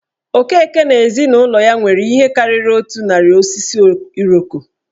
Okeke na ezinụlọ ya nwere ihe karịrị otu narị osisi Iroko.